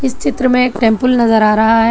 इस चित्र में एक टेंपल नजर आ रहा है।